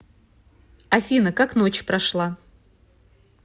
афина как ночь прошла